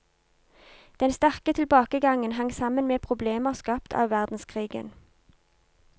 Den sterke tilbakegangen hang sammen med problemer skapt av verdenskrigen.